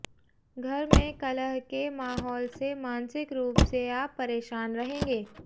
घर में कलह के माहौल से मानसिक रूप से आप परेशान रहेंगे